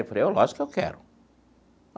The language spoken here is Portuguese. Eu falei, lógico que eu quero.